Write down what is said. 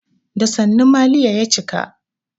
Da sannu maliya ya cika.